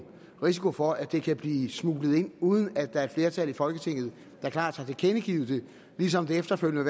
risiko for at det kan blive smuglet ind uden at der er et flertal i folketinget der klart har tilkendegivet det ligesom det efterfølgende